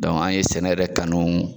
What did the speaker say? an ye sɛnɛ yɛrɛ kanu.